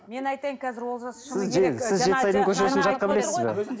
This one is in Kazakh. мен айтайын қазір олжас шыны керек сіз жетісайдың көшесін жатқа білесіз бе